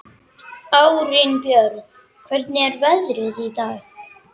Arinbjörn, hvernig er veðrið í dag?